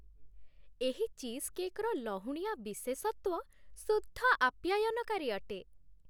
ଏହି ଚିଜକେକ୍‌ର ଲହୁଣୀଆ ବିଶେଷତ୍ଵ ଶୁଦ୍ଧ ଆପ୍ୟାୟନକାରୀ ଅଟେ।